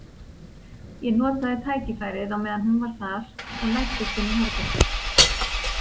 Ég notaði tækifærið á meðan hún var þar og læddist inn í herbergið.